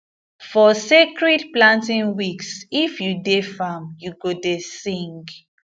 for sacred planting weeks if you dey farm you go dey sing